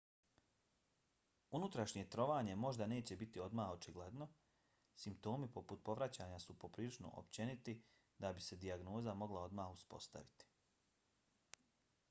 unutrašnje trovanje možda neće biti odmah očigledno. simptomi poput povraćanja su prilično općeniti da bi se dijagnoza mogla odmah uspostaviti